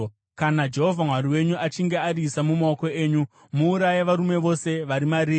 Kana Jehovha Mwari wenyu achinge ariisa mumaoko enyu, muuraye varume vose vari mariri.